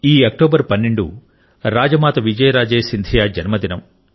ఈ అక్టోబర్ 12 రాజ మాత విజయరాజే సింధియా జన్మదినం